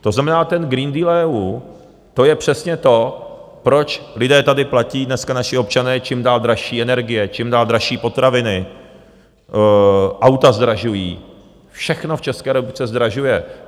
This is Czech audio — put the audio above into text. To znamená, ten Green Deal EU, to je přesně to, proč lidé tady platí, dneska naši občané, čím dál dražší energie, čím dál dražší potraviny... auta zdražují, všechno v České republice zdražuje.